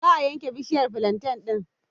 Za a yanke bishiyar flanten ɗin.